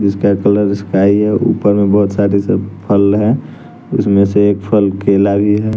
जिसका colour sky हैं ऊपर में बहोत सारे फल हैं उसमें से एक फल केला भी है।